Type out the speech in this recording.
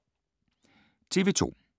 TV 2